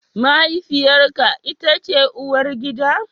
Mahaifiyarka ita ce uwargida?